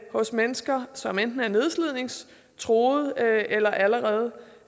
hos mennesker som enten er nedslidningstruede eller allerede